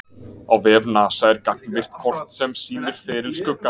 Á vef NASA er gagnvirkt kort sem sýnir feril skuggans.